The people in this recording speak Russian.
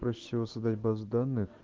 проще всего создать базу данных